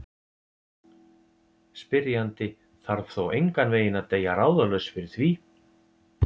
Spyrjandi þarf þó engan veginn að deyja ráðalaus fyrir því.